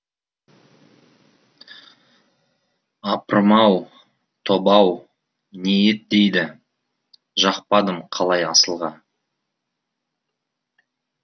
апырм ау тоба ау не ет дейді жақпадым қалай асылға